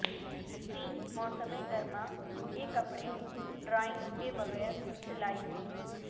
تین موسم گرما کے کپڑے ڈرائنگ کے بغیر سلائی